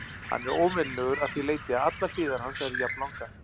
Hann er óvenjulegur að því leyti að allar hliðar hans eru jafnlangar.